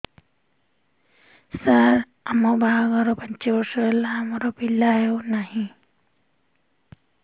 ସାର ଆମ ବାହା ଘର ପାଞ୍ଚ ବର୍ଷ ହେଲା ଆମର ପିଲା ହେଉନାହିଁ